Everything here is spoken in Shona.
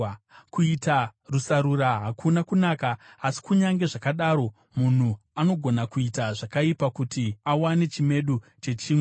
Kuita rusarura hakuna kunaka, asi kunyange zvakadaro munhu anogona kuita zvakaipa kuti awane chimedu chechingwa.